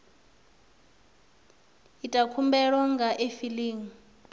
ita khumbelo nga kha efiling